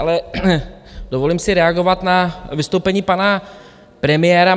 Ale dovolím si reagovat na vystoupení pana premiéra.